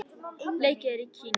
Leikið er í Kína.